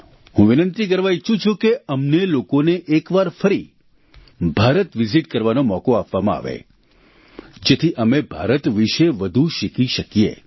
હું વિનંતી કરવા ઈચ્છું છું કે અમને લોકોએ એકવાર ફરી ભારત વિઝીટ કરવાનો મોકો આપવામા આવે જેથી અમે ભારત વિશે વધુ શીખી શકીએ